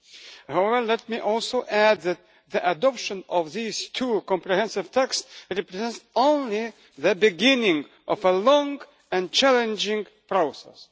However, let me also add that the adoption of these two comprehensive texts represents only the beginning of a long and challenging process.